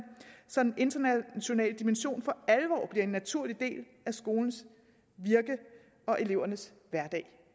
så en international dimension for alvor bliver en naturlig del af skolens virke og elevernes hverdag